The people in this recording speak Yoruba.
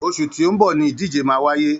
Oṣù tí ó ń bọ̀ ni ìdíje máa wáyé